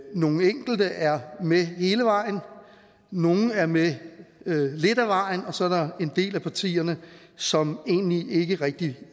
nogle enkelte er med hele vejen nogle er med lidt af vejen og så er der en del af partierne som egentlig ikke rigtig